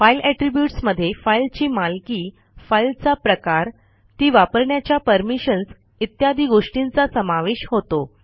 file attributes मधे फाईलची मालकी फाईलचा प्रकार ती वापरण्याच्या परमिशन्स इत्यादि गोष्टींचा समावेश होतो